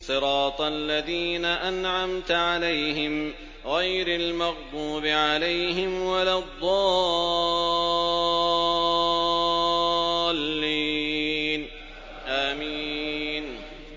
صِرَاطَ الَّذِينَ أَنْعَمْتَ عَلَيْهِمْ غَيْرِ الْمَغْضُوبِ عَلَيْهِمْ وَلَا الضَّالِّينَ